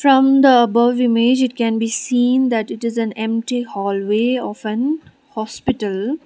from the above image it can be seen that it is an empty hallway of an hospital.